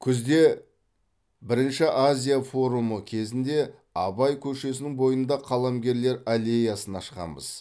күзде бірінші азия форумы кезінде абай көшесінің бойында қаламгерлер аллеясын ашқанбыз